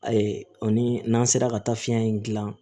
Ayi o ni n'an sera ka taa fiyɛn in gilan